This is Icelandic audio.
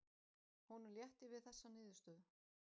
Honum létti við þessa niðurstöðu.